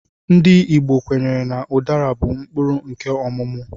Ndị Igbo kwenyere na udara bụ mkpụrụ nkè ọmụmụ